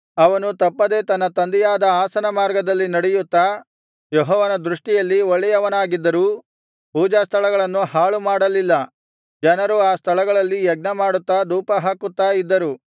ಅವನು ತಪ್ಪದೆ ತನ್ನ ತಂದೆಯಾದ ಆಸನ ಮಾರ್ಗದಲ್ಲಿ ನಡೆಯುತ್ತಾ ಯೆಹೋವನ ದೃಷ್ಟಿಯಲ್ಲಿ ಒಳ್ಳೆಯವನಾಗಿದ್ದರೂ ಪೂಜಾಸ್ಥಳಗಳನ್ನು ಹಾಳುಮಾಡಲಿಲ್ಲ ಜನರು ಆ ಸ್ಥಳಗಳಲ್ಲಿ ಯಜ್ಞಮಾಡುತ್ತಾ ಧೂಪಹಾಕುತ್ತಾ ಇದ್ದರು